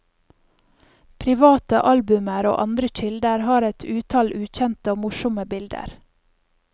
Private albumer og andre kilder har et utall ukjente og morsomme bilder.